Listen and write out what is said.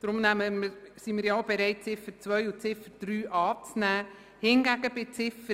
Deshalb sind wir bereit, die Ziffern 2 und 3 anzunehmen.